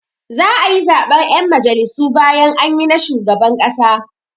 Za'a yi zaɓen 'yan majalisu bayan anyi na shugaban ƙasa.